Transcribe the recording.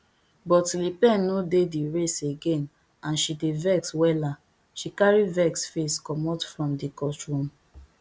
but le pen no dey di race again and she dey vex wella she carry vex face commot from di courtroom